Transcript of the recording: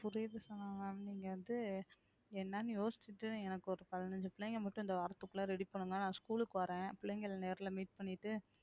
புரியுது ma'am நீங்க வந்து என்னன்னு யோசிச்சிட்டு எனக்கு ஒரு பதினஞ்சு பிள்ளைங்க மட்டும் இந்த வாரத்துக்குள்ள ready பண்ணுங்க நான் school க்கு வர்றேன் பிள்ளைங்களை நேர்ல meet பண்ணிட்டு